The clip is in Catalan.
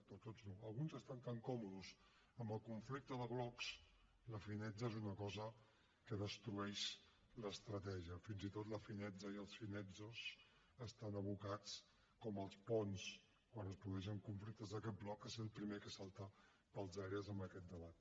no tots no alguns estan tan còmodes amb el conflicte de blocs la finezza és una cosa que destrueix l’estratègia fins i tot la finezza i els finezzos estan abocats com els ponts quan es produeixen conflictes d’aquest bloc a ser el primer que salta pels aires en aquest debat